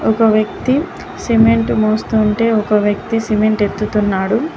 ఒక వ్యక్తి సిమెంటు మోస్తూఉంటే ఒక వ్యక్తి సిమెంట్ ఎత్తుతున్నాడు.